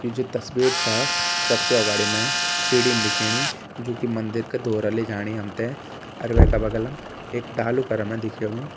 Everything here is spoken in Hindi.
ये जो तस्वीर छा सबसे अगवाड़ी मै सीडिन दिखेणी जू की मंदिर का ध्वोरा ले जाणी हमते अर वेका बगलम एक डालू कर मै दिख्येणु।